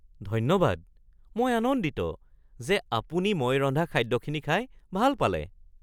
ধন্যবাদ! মই আনন্দিত যে আপুনি মই ৰন্ধা খাদ্যখিনি খাই ভাল পালে (চেফ)